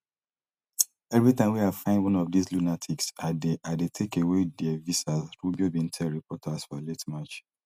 evri time wey i find one of dis lunatics i dey i dey take away dia visas rubio bin tell reporters for late march